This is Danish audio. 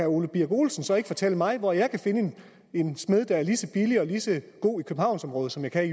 ole birk olesen så ikke fortælle mig hvor jeg kan finde en smed der er lige så billig og lige så god i københavnsområdet som jeg kan